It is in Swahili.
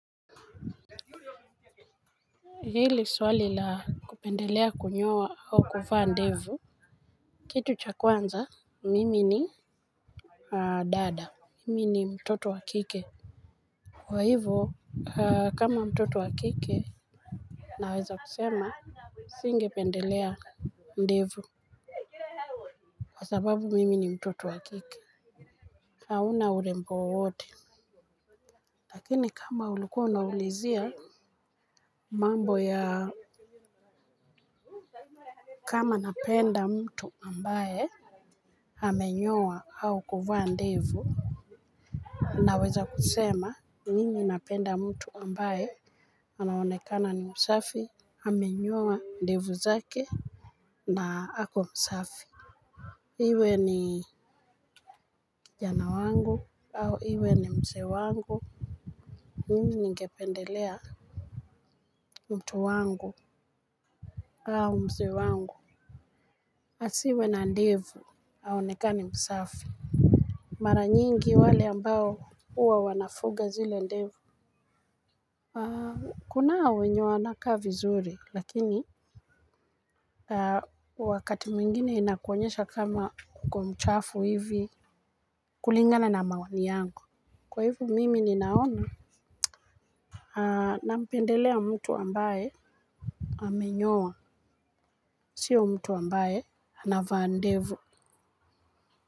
Hili swali la kupendelea kunyoa au kuvaa ndevu. Kitu cha kwanza mimi ni Dada. Mimi ni mtoto wakike. Kwa hivo kama mtoto wakike naweza kusema singe pendelea ndevu. Kwa sababu mimi ni mtoto wakike hauna urembo wowote. Lakini kama uluko unawulizia mambo ya kama napenda mtu ambaye amenyoa au kuvaa ndevu naweza kusema mimi napenda mtu ambae anaonekana ni msafi amenyoa ndevu zake na ako msafi. Iwe ni kijana wangu au iwe ni mse wangu mimi ningependelea mtu wangu au mse wangu. Asiwe na ndevu aonekana ni msafi. Maranyingi wale ambao uwa wanafuga zile ndevu. Kuna wenye wanaka vizuri lakini wakati mwingine inakuonyesha kama uko mchafu hivi. Kulingana na maoni yangu. Kwa hivo mimi ninaona. Nampendelea mtu ambaye amenyowa sio mtu ambaye anavaa ndevu.